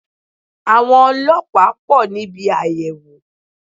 Àwọn ọlọ́pàá pò níbi àyẹ̀wò